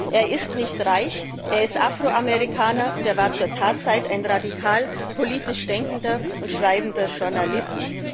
Er ist nicht reich, er ist Afro Amerikaner, und er war zur Tatzeit ein politisch radikal denkender und schreibender Journalist.